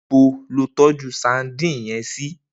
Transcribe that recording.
Nibo ló tòjú sàdín yèn si?